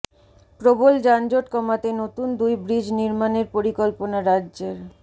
প্রবল যানজট কমাতে নতুন দুই ব্রিজ নির্মাণের পরিকল্পনা রাজ্যের